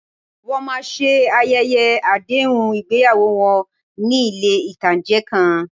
Wọ́n máa ṣe ayẹyẹ àdéhùn ìgbéyàwó wọn ní ilé ìtánjẹ kan